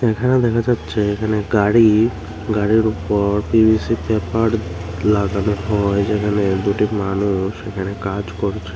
এখানে দেখা যাচ্ছে এখানে গাড়ি গাড়ির উপর পি_ভি_সি পেপার লাগানো হয় যেখানে দুটি মানুষ এখানে কাজ করছে।